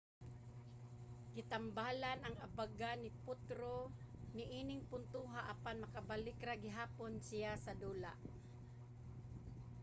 gitambalan ang abaga ni potro niing puntoha apan nakabalik ra gihapon siya sa dula